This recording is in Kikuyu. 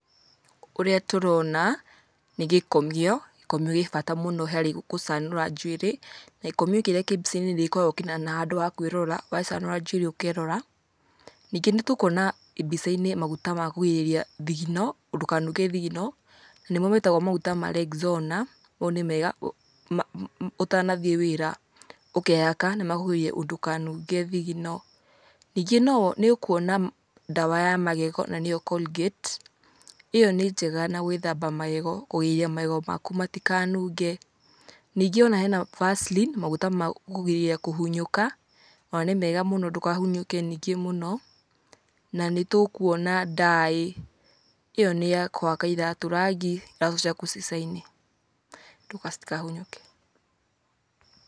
Ũrĩa tũrona nĩ gĩkomio, gĩkomio gĩ bata mũno harĩ gũcanũra njuĩrĩ, na gĩkomio kĩrĩa kĩĩ mbica-inĩ nĩgĩkoragũo kĩna handũ ha kwĩrora, wacanũra njuĩrĩ ũkerora. Ningĩ nĩ tũkuona mbica-inĩ maguta ma kũgirĩrĩria thigino ndukanunge thigino, nĩmo metagwo maguta ma Rexona mau nĩ mega ũtanathiĩ wĩra ũkehaka nimakũgirĩrĩria ndukanunge thigino. Ningĩ nĩ ũkuona ndawa ya magego na nĩyo c Colgate ĩyo nĩ njega na gwĩthamba magego, kũgiria magego maku matikanunge, ningĩ ona hena Vaseline maguta ma kũgirĩrĩria kũhunyũka ona nĩ mega mũno ndũkahunyũke ningĩ mũno na nĩtũkuona dye ĩyo nĩ ya kũhaka iratũ rangi iratũ ciaku cicaine citikahunyũke.